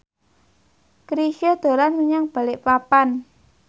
Chrisye dolan menyang Balikpapan